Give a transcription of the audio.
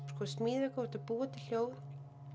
smíða eitthvað þú ert að búa til hljóð